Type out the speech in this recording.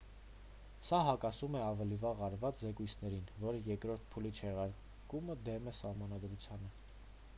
սա հակասում է ավելի վաղ արված զեկույցներին որ երկրորդ փուլի չեղարկումը դեմ է սահմանադրությանը